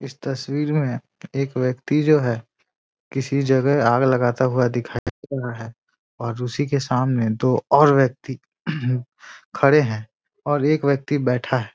इस तस्वीर में एक व्यक्ति जो है किसी जगह आग लगाता हुआ दिखाई दे रहा है और उसी के सामने दो और व्यक्ति खड़े हैं और एक व्यक्ति बैठा है।